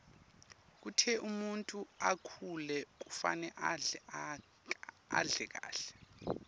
kute umuntfu akhule kufuna adle kahle